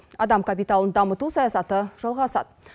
адам капиталын дамыту саясаты жалғасады